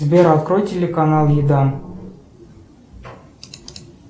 сбер открой телеканал еда